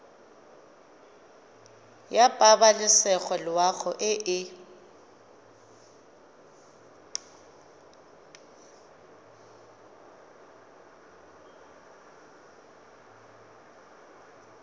ya pabalesego loago e e